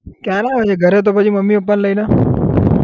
ક્યારે આવે છે ઘરે તો પછી મમ્મી પપ્પાને લઇને